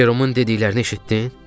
Jeromun dediklərini eşitdin?